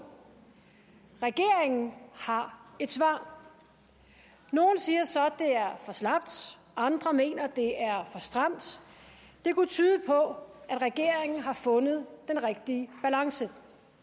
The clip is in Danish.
regeringen har et svar nogle siger så det er for slapt andre mener at det er for stramt det kunne tyde på at regeringen har fundet den rigtige balance